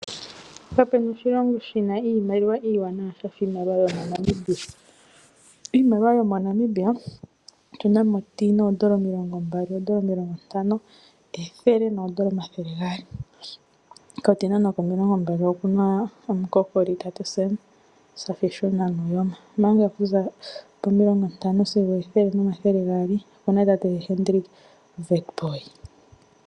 Kapena oshilongo shina iimaliwa iiwanawa shafa iimaliwa yaNamibia. Iimaliwa yomoNamibia otu na mo 10, $20, $50, $100, $200. Ko 10 noko $20 okuna omukokoli tate Sam Shafiishuna Nuujoma, omanga oku za po50 sigo 100 nomathele gaali oku na tate Hendrick Witbooi.